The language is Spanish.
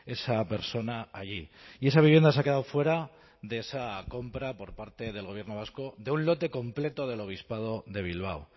esa persona allí y esa vivienda se ha quedado fuera de esa compra por parte del gobierno vasco de un lote completo del obispado de bilbao